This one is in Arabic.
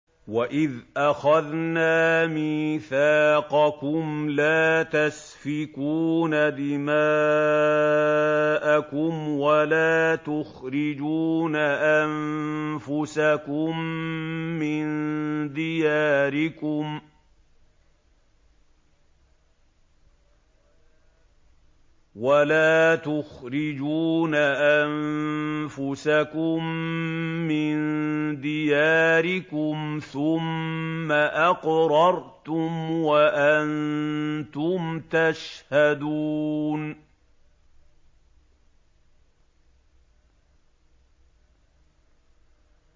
وَإِذْ أَخَذْنَا مِيثَاقَكُمْ لَا تَسْفِكُونَ دِمَاءَكُمْ وَلَا تُخْرِجُونَ أَنفُسَكُم مِّن دِيَارِكُمْ ثُمَّ أَقْرَرْتُمْ وَأَنتُمْ تَشْهَدُونَ